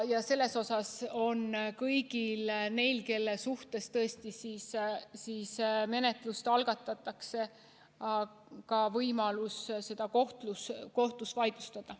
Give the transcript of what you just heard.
Ja kõigil neil, kelle suhtes menetlus algatatakse, on ka võimalus see kohtus vaidlustada.